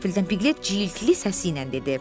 Qəfildən Piglet cildli səsi ilə dedi.